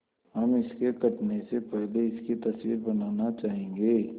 हम इसके कटने से पहले इसकी तस्वीर बनाना चाहेंगे